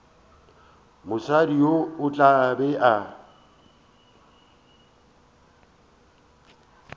mosadi yo o tla be